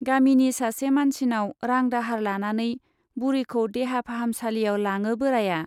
गामिनि सासे मानसिनाव रां दाहार लानानै बुरिखौ देहा फाहामसालियाव लाङो बोराया।